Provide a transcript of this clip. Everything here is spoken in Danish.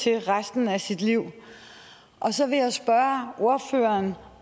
resten af sit liv og så vil jeg spørge ordføreren